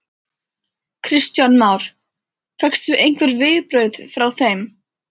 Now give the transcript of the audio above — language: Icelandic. Kristján Már: Fékkstu einhver viðbrögð frá þeim?